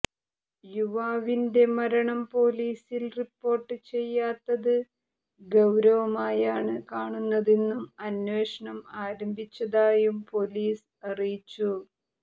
യുവാവിൻറെ മരണം പൊലീസിൽ റിപ്പോർട്ട് ചെയ്യാത്തത് ഗൌരവമായാണ് കാണുന്നതെന്നും അന്വേഷണം ആരംഭിച്ചതായും പൊലീസ് അറിയിച്ചു